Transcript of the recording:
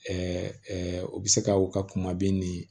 u bɛ se ka u ka kuma bin ni